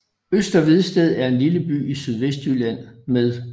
Øster Vedsted er en lille by i Sydvestjylland med